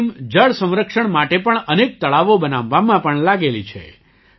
આ ટીમ જળ સંરક્ષણ માટે પણ અનેક તળાવો બનાવવામાં પણ લાગેલી છે